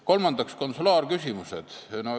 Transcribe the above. Kolmandaks, konsulaarküsimused.